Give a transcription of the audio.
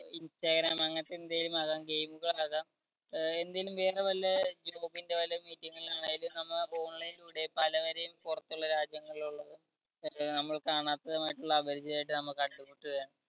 instagram അങ്ങനത്തെ എന്തേലും ആകാം game കൾ ആകാം ആഹ് എന്തേലും വേറെ വല്ല നമ്മള്‍അപ്പ online ലൂടെ പലവരെയും പുറത്തുള്ള രാജ്യങ്ങളിലുള്ളത് ആഹ് നമ്മൾ കാണാത്തതായിട്ടുള്ള അപരിചിതമായിട്ട് നമുക്ക